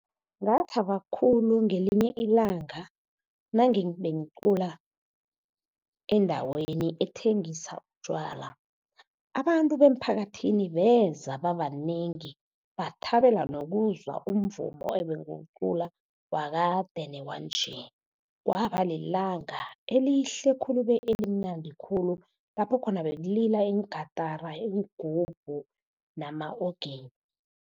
Ngathaba khulu ngelinye ilanga nabengicula endaweni ethengisa utjwala, abantu bomphakathini beza babanengi, bathabela nokuzwa umvumo ebengiwucula wakade newanje. Kwaba lilanga elihle khulu be elimnandi khulu, lapho khona bekulila iingatara, iingubhu nama-organ.